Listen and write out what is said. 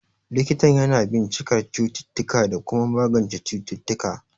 Likitan yana bincikar cututtuka da kuma magance cututtuka.